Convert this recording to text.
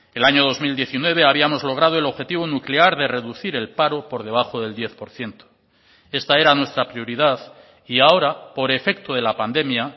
el año dos mil diecinueve habíamos logrado el objetivo nuclear de reducir el paro por debajo del diez por ciento esta era nuestra prioridad y ahora por efecto de la pandemia